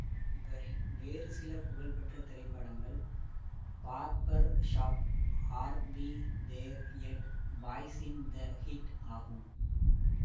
இவரின் வேறு சில புகழ்பெற்ற திரைப்படங்கள் barbershop are we there yet boys in the hood ஆகும்